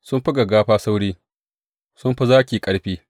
Sun fi gaggafa sauri, sun fi zaki ƙarfi.